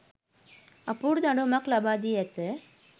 අපූරු දඬුවමක් ලබාදී ඇත